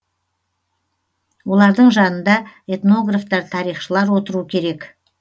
олардың жанында этнографтар тарихшылар отыру керек